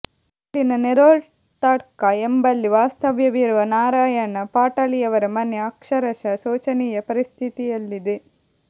ಇಲ್ಲಿನ ನೇರೊಳ್ತಡ್ಕ ಎಂಬಲ್ಲಿ ವಾಸ್ತವ್ಯವಿರುವ ನಾರಾಯಣ ಪಾಟಾಳಿಯವರ ಮನೆ ಅಕ್ಷರಶಃ ಶೋಚನೀಯ ಪರಿಸ್ಥಿತಿಯಲ್ಲಿದೆ